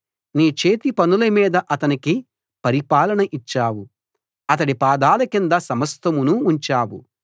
నీ చేతిపనుల మీద అతనికి పరిపాలన ఇచ్చావు అతడి పాదాల కింద సమస్తమును ఉంచావు